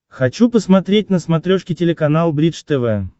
хочу посмотреть на смотрешке телеканал бридж тв